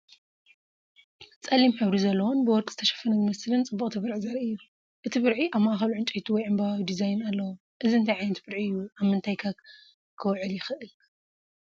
ጸሊም ሕብሪ ዘለዎን ብወርቂ ዝተሸፈነ ዝመስልን ጽብቕቲ ብርዒ ዘርኢ እዩ። እቲ ብርዒ ኣብ ማእከሉ ዕንጨይቲ ወይ ዕምባባዊ ዲዛይን ኣለዎ። እዚ እንታይ ዓይነት ብርዒ እዩ? ኣብ ምንታይከ ኪውዕል ይኽእል?